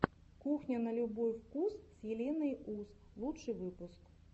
кухня на любой вкус с еленой ус лучший выпуск